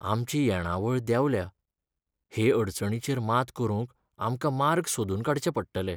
आमची येणावळ देंवल्या ! हे अडचणीचेर मात करूंक आमकां मार्ग सोदून काडचे पडटले.